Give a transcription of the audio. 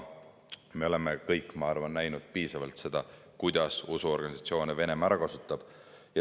Me oleme kõik piisavalt näinud, kuidas Venemaa usuorganisatsioone ära kasutab.